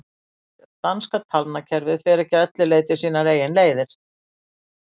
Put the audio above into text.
danska talnakerfið fer ekki að öllu leyti sínar eigin leiðir